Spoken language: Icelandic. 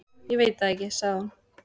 Ég veit það ekki, sagði hún.